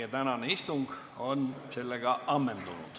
Meie tänane istung on sellega ammendatud.